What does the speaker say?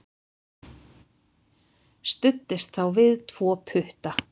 Studdist þá við tvo putta.